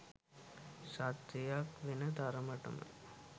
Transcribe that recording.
සත්‍යයක් වෙන තරමට ම